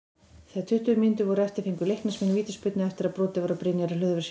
Þegar tuttugu mínútur voru eftir fengu Leiknismenn vítaspyrnu eftir að brotið var á Brynjari Hlöðverssyni.